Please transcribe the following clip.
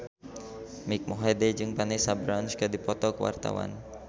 Mike Mohede jeung Vanessa Branch keur dipoto ku wartawan